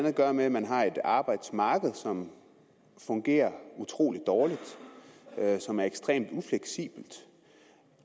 at gøre med at man har et arbejdsmarked som fungerer utrolig dårligt og som er ekstremt ufleksibelt